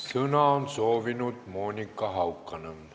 Sõna on soovinud Monika Haukanõmm.